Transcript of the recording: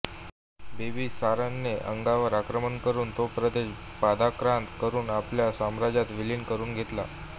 बिंबिसारने अंगवर आक्रमण करून तो प्रदेश पादाक्रांत करुन आपल्या साम्राज्यात विलीन करुन घेतला